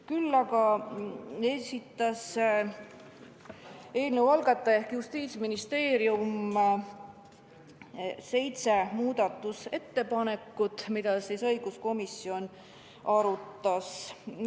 Küll aga esitas eelnõu algataja ehk Justiitsministeerium seitse muudatusettepanekut, mida õiguskomisjon arutas.